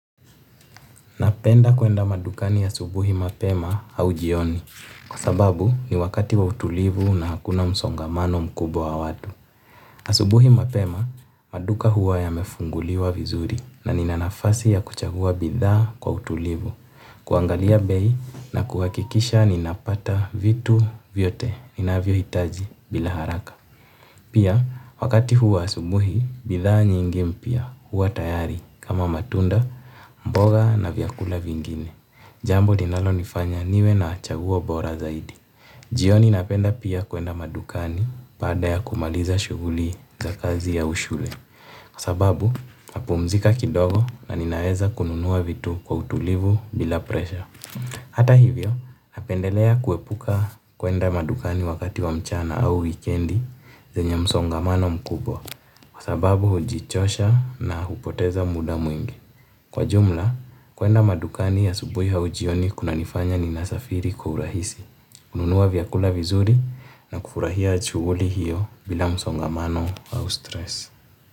Napenda kwenda madukani asubuhi mapema au jioni, kwa sababu ni wakati wa utulivu na hakuna msongamano mkubwa wa watu. Asubuhi mapema, maduka huwa yamefunguliwa vizuri na nina nafasi ya kuchagua bidhaa kwa utulivu, kuangalia bei na kuhakikisha ninapata vitu vyote, ninavyohitaji bila haraka. Pia wakati huu wa asubuhi bidhaa nyinyi mpya huwa tayarknkama matunda mboga na bidhaa vimgine jambo linalonifanya niwe na chaguo bora zaidi. Jioni napenda pia kuenda madukani baada ya kumaliza shughuli za kazi ya ushule. Sababu, napumzika kidogo na ninaeza kununua vitu kwa utulivu bila presha. Hata hivyo, napendelea kuepuka kwenda madukani wakati wa mchana au weekendi zenye msongamano mkubwa kwa sababu hujichosha na hupoteza muda mwingi. Kwa jumla, kwenda madukani asubuhi au jioni kunanifanya ninasafiri kwa urahisi, ununua vyakula vizuri na kufurahia shughuli hiyo bila msongamano au stress.